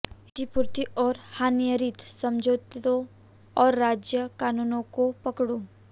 क्षतिपूर्ति और हानिरहित समझौतों और राज्य कानूनों को पकड़ो